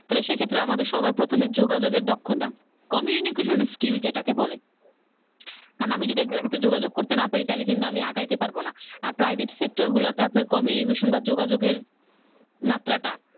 তাহলে সেক্ষেত্রে আমাদের সবার প্রথমে যোগাযোগের দক্ষতা Communication skill যেটাকে বলে কারণ আমি যদি একজনের কাছে যোগাযোগ করতে না পারি তাহলে কিন্তু আমি আগাইতে পারবো না আর private sector ওগুলাতে আপ আপনার যোগাযোগের মাত্রাটা